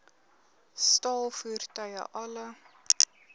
staal voertuie alle